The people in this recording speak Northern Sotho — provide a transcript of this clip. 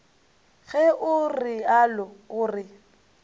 ge o realo o re